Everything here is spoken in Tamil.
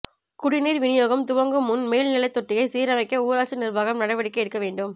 குடிநீர் வினியோகம் துவங்கும் முன் மேல்நிலைத்தொட்டியை சீரமைக்க ஊராட்சி நிர்வாகம் நடவடிக்கை எடுக்க வேண்டும்